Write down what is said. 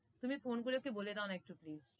তুমি phone করে ওকে বলে দাওনা একটু please